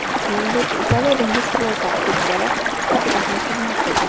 Shuningdek, Italiya dengiz floti ofitseri sifatida ham xizmat qilgan.